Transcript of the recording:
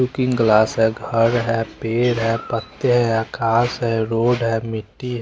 Cooking class है घर है पेड़ है पत्ते हैं घास है रोड है मिट्टी है।